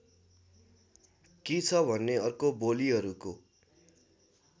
के छ भने अर्को बोलीहरूको